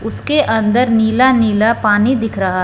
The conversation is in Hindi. उसके अंदर नीला नीला पानी दिख रहा--